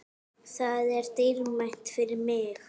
Það er dýrmætt fyrir mig.